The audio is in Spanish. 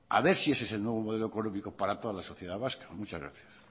a ver si ese es el nuevo modelo económico para todas la sociedad vasca muchas gracias